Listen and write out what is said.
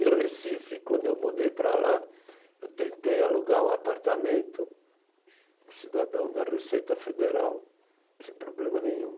Em Recife, quando eu mudei para lá, eu tentei alugar um apartamento, cidadão da Receita Federal, sem problema nenhum.